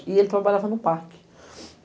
E ele trabalhava no parque.